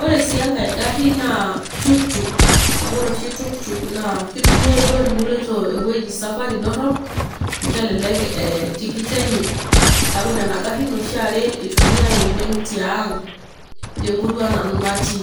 ore sii enkae gari naa tuktuk. ore ohi tuktuk naa kitumia duo teniloito ewueji esafari dorop, amu kelelek tikit enye, neeku nena garin oshi iytumiae oleng tiang temurua nanu natii.